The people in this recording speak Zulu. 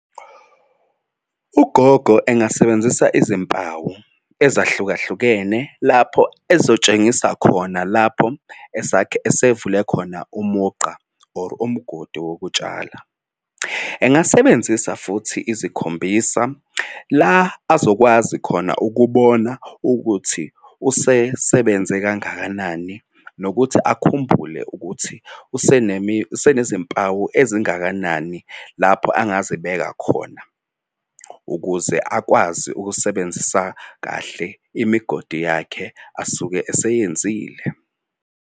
Ugogo engasebenzisa izimpawu ezahlukahlukene lapho ezotshengisa khona lapho esuvele khona umugqa or umgodi wokutshala. Engasebenzisa futhi ezikhombisa la azokwazi khona ukubona ukuthi usesebenze kangakanani nokuthi akhumbule ukuthi usenezimpawu ezingakanani lapho angazibeka khona ukuze akwazi ukusebenzisa kahle imigodi yakhe asuke eseyenzile.